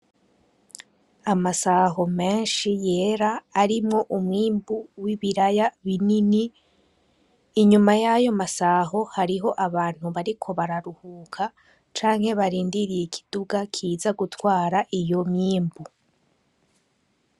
Amasaho menshi yera arimwo umwimbu wibiraya binini inyuma yayo masaho hariho abantu bariko bararuhuka canke barindiriye ikiduga kiza gutwara iyo myimbu.